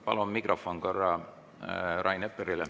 Palun mikrofon korra Rain Eplerile.